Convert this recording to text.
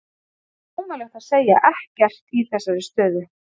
Það er ómögulegt að segja ekkert í þessari stöðu.